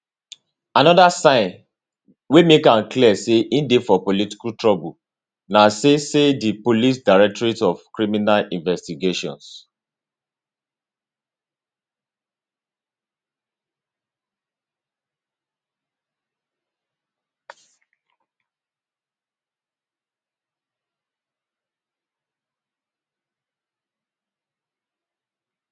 anoda sign wey make am clear say e dey for political trouble na say say di police directorate of criminal investigations